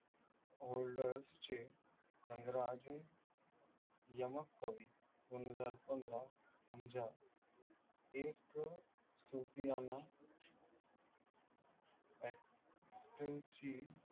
holders चे रंगराज यमक कवि दोनहजार पंधरा, समजा एक सुफियाणा actor ची